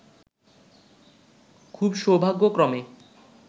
খুব সৌভাগ্যক্রমে